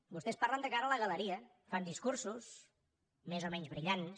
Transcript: vostès parlen de cara a la galeria fan discursos més o menys brillants